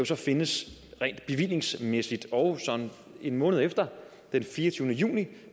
så findes rent bevillingsmæssigt og en måned efter den fireogtyvende juni